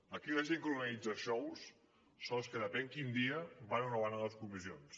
aquí la gent que organitza xous són els que depèn quin dia van o no van a les comissions